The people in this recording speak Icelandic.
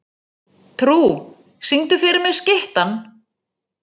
Trú, syngdu fyrir mig „Skyttan“.